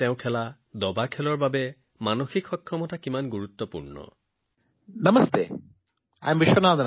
তেওঁৰ খেল দবাৰ বাবে মানসিক সুস্থতা কিমান গুৰুত্বপূৰ্ণ আমি সকলোৱে জানো